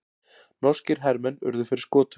Norskir hermenn urðu fyrir skotum